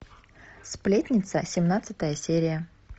сплетница семнадцатая серия